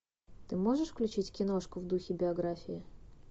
ты можешь включить киношку в духе биографии